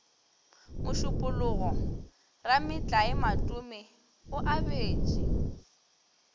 mošupologo rametlae matome o abetše